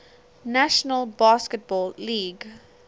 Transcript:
national basketball league